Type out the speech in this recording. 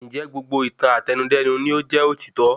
Ńjẹ̀ gbogbo ìtàn Àtẹnudẹ́nu ni o jẹ́ òtítọ́